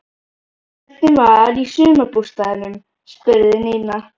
Hvernig var í sumarbústaðnum? spurði Nína.